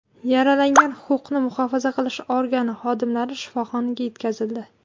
Yaralangan huquqni muhofaza qilish organi xodimlari shifoxonaga yetkazildi.